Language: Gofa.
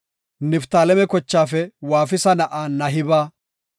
Niftaaleme kochaafe Waafisa na7aa Nahiba;